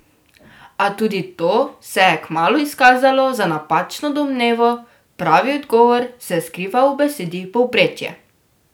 A tudi to se je kmalu izkazalo za napačno domnevo, pravi odgovor se je skrival v besedi povprečje.